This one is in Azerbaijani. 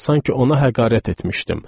Sanki ona həqarət etmişdim.